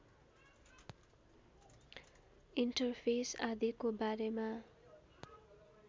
interface आदिको बारेमा